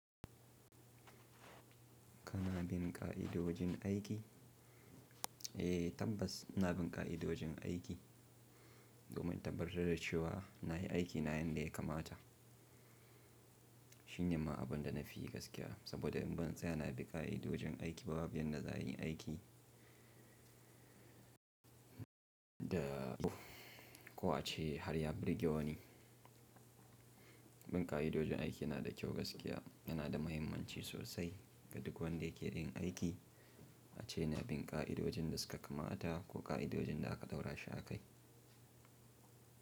Kana bin ƙa'idodin aiki? Eh, tabbas ina bin ƙa'idodin aiki domin tabbatar da cewa nayi aiki na yadda ya kamata. Shin ne ma abunda nafi gaskiya saboda in ban tsaya na bi ƙa'idodin aiki ba babu yadda za yi aiki. Da ko a ce har ya birge wani. Bin ƙa'idodon aiki yana da kyau gaskiya, yana da muhimmanci sosai ga duk wanda ke yin aiki, a ce na bin ƙa'idodin da suka kamata ko ƙa'idodin da aka ɗaura shi a kai.